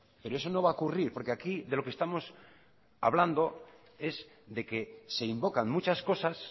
pero eso no va a ocurrir porque aquí de lo que estamos hablando es de que se invocan muchas cosas